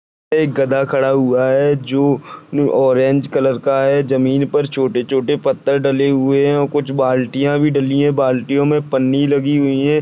एक गधा खड़ा हुआ है जो ऑरेंज का कलर है जमीन पर छोटे छोटे पत्थर डले हुए है और कुछ बाल्टिया भी डली है बाल्टिया मे पन्नी लगी हुई है।